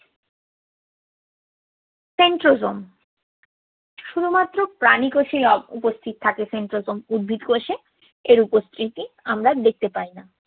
centrosome শুধুমাত্র প্রাণিকোষেই অ~ উপস্থিত থাকে centrosome । উদ্ভিদ কোষে উপস্থিতি আমরা দেখতে পাই না।